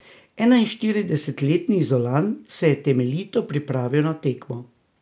Enainštiridesetletni Izolan se je temeljito pripravil na tekmo.